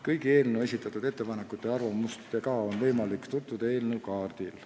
Kõigi eelnõu kohta esitatud ettepanekute ja arvamustega on võimalik tutvuda eelnõu kaardil.